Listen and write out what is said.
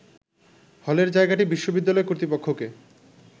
হলের জায়গাটি বিশ্ববিদ্যালয় কর্তৃপক্ষকে